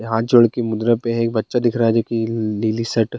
हाथ जोड़ के मुद्रा पे है एक बच्चा दिख रहा है लिल्लि शर्ट ।